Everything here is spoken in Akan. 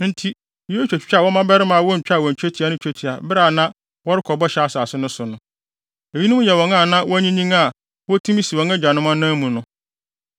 Enti Yosua twitwaa wɔn mmabarima a wontwaa wɔn twetia no twetia bere a na wɔrekɔ Bɔhyɛ Asase no so no. Eyinom yɛ wɔn a na wɔanyinyin a wotumi si wɔn agyanom anan mu no.